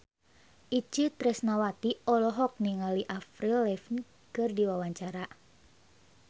Itje Tresnawati olohok ningali Avril Lavigne keur diwawancara